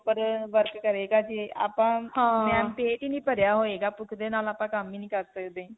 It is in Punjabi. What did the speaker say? proper ਅਅ work ਕਰੇਗਾ ਜੇ ਆਪਾਂ ਪੇਟ ਹੀ ਨਹੀਂ ਭਰੀਆਂ ਹੋਏਗਾ. ਭੁੱਖ ਦੇ ਨਾਲ ਆਪਾਂ ਕੰਮ ਹੀ ਨਹੀਂ ਕਰ ਸਕਦੇ.